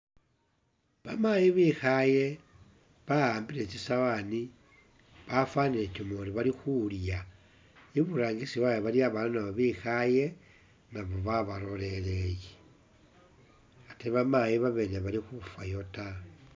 Bamaayi bekhaye bawambile tsisawaani , bafanile utuyori bali khulya i'burangisi wawe nayo iliyo babaana bikhaye naabo ba baloleleye ate bamaayi babene i bali khufayo ta